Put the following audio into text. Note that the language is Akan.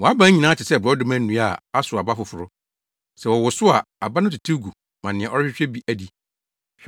Wʼaban nyinaa te sɛ borɔdɔma nnua a asow aba foforo: sɛ wɔwosow a aba no tetew gu ma nea ɔrehwehwɛ bi adi.